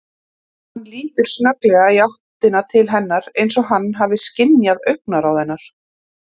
Hann lítur snögglega í áttina til hennar eins og hann hafi skynjað augnaráð hennar.